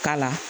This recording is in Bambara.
Ka la